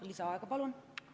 Lisaaega palun!